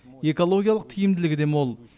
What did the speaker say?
экологиялық тиімділігі де мол